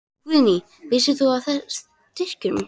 Guðný: Hvenær vissir þú af styrkjunum?